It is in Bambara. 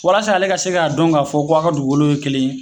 Walasa ale ka se k'a don k'a fɔ ko a ka dugukolo ye kelen ye.